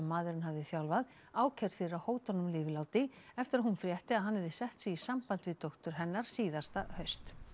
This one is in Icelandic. maðurinn hafði þjálfað ákærð fyrir að hóta honum lífláti eftir að hún frétti að hann hefði sett sig í samband við dóttur hennar síðasta haust